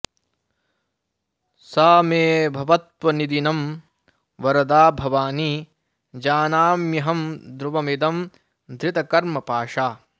सा मे भवत्वनिदिनं वरदा भवानी जानाम्यहं ध्रुवमिदं धृतकर्मपाशा